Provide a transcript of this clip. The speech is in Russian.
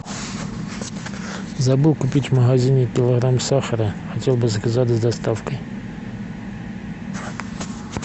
забыл купить в магазине килограмм сахара хотел бы заказать с доставкой